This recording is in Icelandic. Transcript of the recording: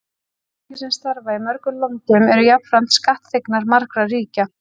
Fyrirtæki sem starfa í mörgum löndum eru jafnframt skattþegnar margra ríkja.